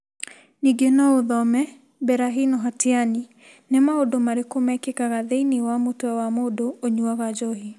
Ningĩ no ũthome: Berahino hatiani Nĩ Maũndũ Marĩkũ Mekĩkaga Thĩinĩ wa Mũtwe wa Mũndũ Ũnyuaga Njohi?